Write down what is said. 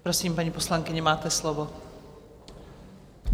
Prosím, paní poslankyně máte slovo.